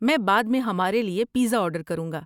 میں بعد میں ہمارے لیے پیزا آرڈر کروں گا۔